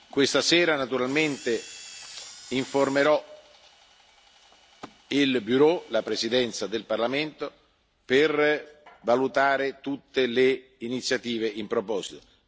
Questa sera naturalmente informerò il Bureau l'Ufficio di presidenza del Parlamento, per valutare tutte le iniziative in proposito